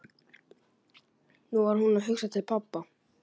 Nú var hún að hugsa til pabba.